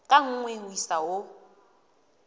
ka nngwe ho isa ho